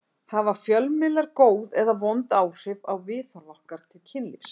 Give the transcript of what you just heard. Hafa fjölmiðlar góð eða vond áhrif á viðhorf okkar til kynlífs?